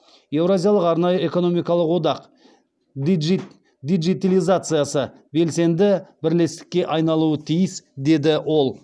еуразиялық арнайы экономикалық одақ диджитилизациясы белсенді бірлестікке айналуы тиіс деді ол